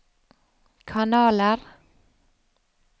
kanaler